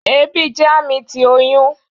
Ebi jẹ ami ti oyun